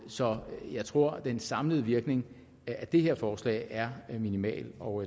så jeg tror den samlede virkning af det her forslag er minimal og